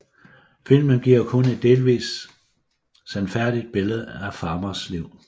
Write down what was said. Filmen giver kun delvist et sandfærdigt billede af Farmers liv